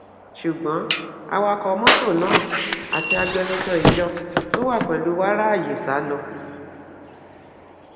ṣùgbọn awakọ mọtò náà àti agbẹnusọ ìjọ tó wà pẹlú wa ráàyè sá lọ